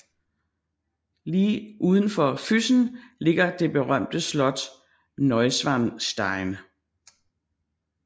Lige uden for Füssen ligger det berømte slot Neuschwanstein